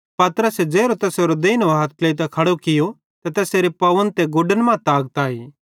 पतरसे ज़ेरो तैसेरो देइनो हथ ट्लेइतां खड़ो कियो त तैसेरे पावन मां ते गुडन मां ताकत आई